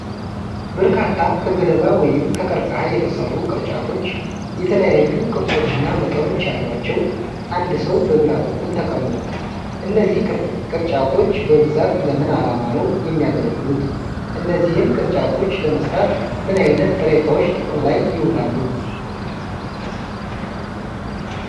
በርካታ ከገለባ ወይም ከቀርከሃ የተሰሩ ቅርጫቶች፣ የተለያዩ ቅርጾችና መጠኖች ያሏቸው አንድ ሰው በግራ በኩል ተቀምጧል። እነዚህ ቅርጫቶች በብዛት ለምን ዓላማ ነው የሚያገለግሉት? እነዚህን ቅርጫቶች ለመሥራት ምን ዓይነት ጥሬ ዕቃዎች ጥቅም ላይ ይውላሉ?